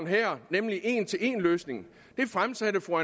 her nemlig en til en løsningen det fremsatte fru